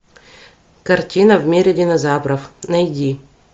картина в мире динозавров найди